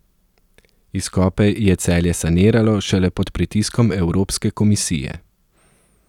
Izkope je Celje saniralo šele pod pritiskom Evropske komisije.